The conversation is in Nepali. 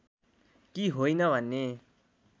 कि होइन भन्ने